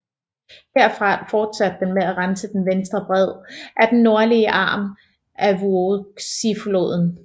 Derfra fortsatte den med at rense den venstre bred af den nordlige arm af Vuoksi floden